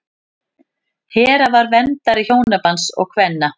hera var verndari hjónabands og kvenna